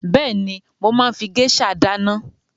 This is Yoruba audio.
Bẹ́èni, mo máa ń fi géṣà dáná.